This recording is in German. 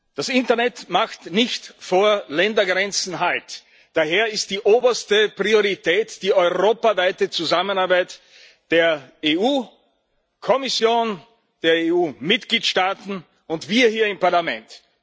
Das Internet macht nicht vor Ländergrenzen Halt, daher ist die oberste Priorität die europaweite Zusammenarbeit zwischen der EU Kommission, den EU Mitgliedsstaaten und uns hier im Parlament.